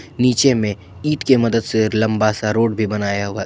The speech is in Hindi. नीचे में ईंट के मदद से लंबा सा रोड भी बनाया हुआ--